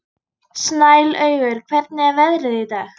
Snælaugur, hvernig er veðrið í dag?